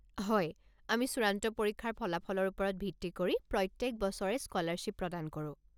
হয়, আমি চূড়ান্ত পৰীক্ষাৰ ফলাফলৰ ওপৰত ভিত্তি কৰি প্ৰত্যেক বছৰে স্কলাৰশ্বিপ প্ৰদান কৰো।